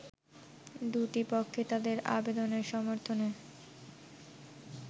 দু’টি পক্ষ তাদের আবেদনের সমর্থনে